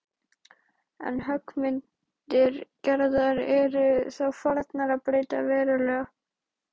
En höggmyndir Gerðar eru þá farnar að breytast verulega.